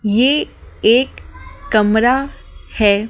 ये एक कमरा है।